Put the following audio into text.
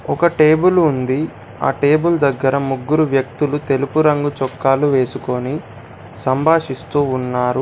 ఒక టేబుల్ ఉంది. ఆ టేబుల్ దగ్గర ముగ్గురు వ్యక్తులు తెలుపు రంగు చొక్కాలు వేసుకొని సంభాషిస్తూ ఉన్నారు.